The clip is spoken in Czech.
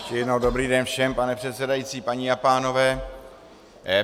Ještě jednou dobrý den všem, pane předsedající, paní a pánové.